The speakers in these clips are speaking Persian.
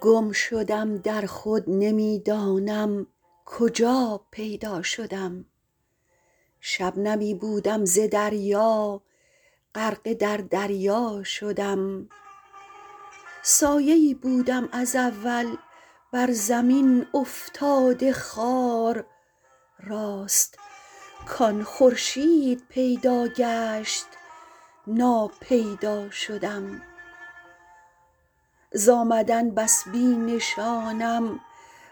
گم شدم در خود نمی دانم کجا پیدا شدم شبنمی بودم ز دریا غرقه در دریا شدم سایه ای بودم از اول بر زمین افتاده خوار راست کان خورشید پیدا گشت ناپیدا شدم زآمدن بس بی نشانم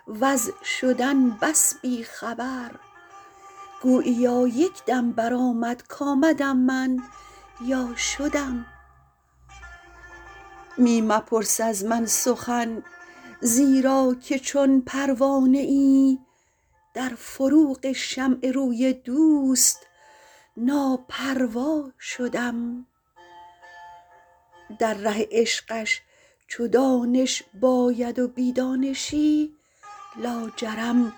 وز شدن بس بی خبر گوییا یکدم برآمد کامدم من یا شدم می مپرس از من سخن زیرا که چون پروانه ای در فروغ شمع روی دوست ناپروا شدم در ره عشقش چو دانش باید و بی دانشی لاجرم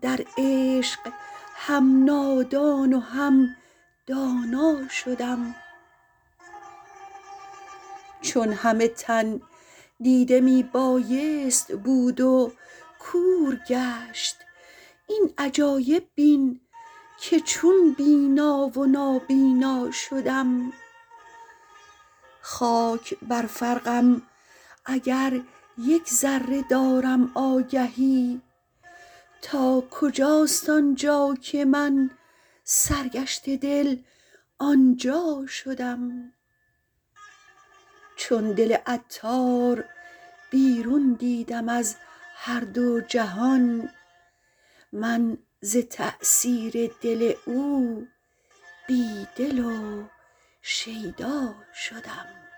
در عشق هم نادان و هم دانا شدم چون همه تن دیده می بایست بود و کور گشت این عجایب بین که چون بینا و نابینا شدم خاک بر فرقم اگر یک ذره دارم آگهی تا کجاست آنجا که من سرگشته دل آنجا شدم چون دل عطار بیرون دیدم از هر دو جهان من ز تأثیر دل او بی دل و شیدا شدم